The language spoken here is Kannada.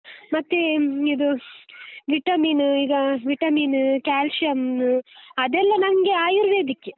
ಮತ್ತೇ, ಇದು vitamin ಈಗ vitamin, calcium ಅದೆಲ್ಲ ನಂಗೆ ಆಯುರ್ವೇದಿಕ್ಕೇ.